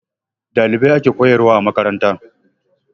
Ɗalibai ake koyarwa a makaranta.